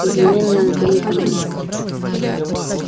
извини меня но ты не понимаешь